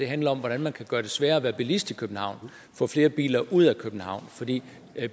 handler om hvordan man kan gøre det sværere at være bilist i københavn og få flere biler ud af københavn fordi